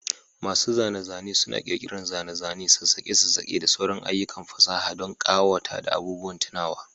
Masu zane-zane suna ƙirƙirar zane-zane, sassakaki, da sauran ayyukan fasaha don ƙawata da abubuwan tunawa.